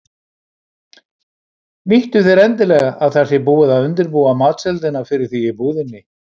Nýttu þér endilega að það sé búið að undirbúa matseldina fyrir þig í búðinni.